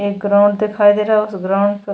एक ग्राउंड दिखाई दे रहा है उस ग्राउंड को --